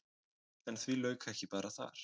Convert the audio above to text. En því lauk ekki bara þar.